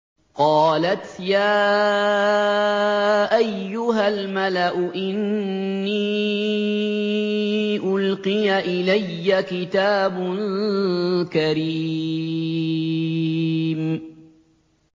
قَالَتْ يَا أَيُّهَا الْمَلَأُ إِنِّي أُلْقِيَ إِلَيَّ كِتَابٌ كَرِيمٌ